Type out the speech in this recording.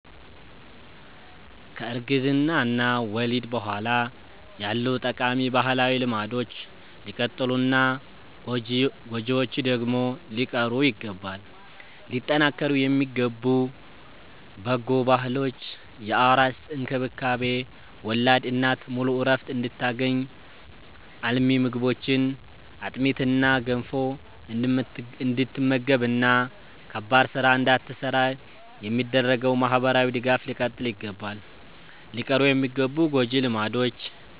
ከእርግዝና እና ወሊድ በኋላ ያሉ ጠቃሚ ባህላዊ ልማዶች ሊቀጥሉና ጎጂዎቹ ደግሞ ሊቀሩ ይገባል። ሊጠናከሩ የሚገቡ በጎ ባህሎች፦ የአራስ እንክብካቤ፦ ወላድ እናት ሙሉ ዕረፍት እንድታገኝ፣ አልሚ ምግቦችን (አጥሚትና ገንፎ) እንድትመገብና ከባድ ሥራ እንዳትሠራ የሚደረገው ማኅበራዊ ድጋፍ ሊቀጥል ይገባል። ሊቀሩ የሚገቡ ጎጂ ልማዶች፦